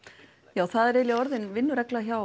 já það er eiginlega orðin vinnuregla hjá